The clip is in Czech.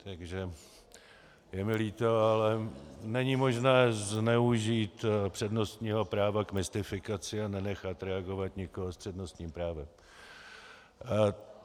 Takže je mi líto, ale není možné zneužít přednostního práva k mystifikaci a nenechat reagovat nikoho s přednostním právem.